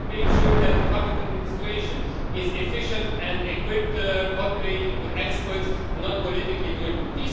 We have to make sure that the public administration is efficient and equipped, populated with experts, not politically driven.